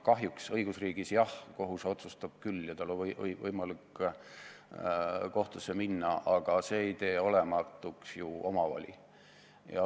Kahjuks õigusriigis, jah, kohus otsustab küll ja tal on võimalik kohtusse minna, aga see ei tee ju olematuks omavoli.